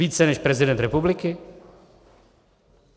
Více než prezident republiky?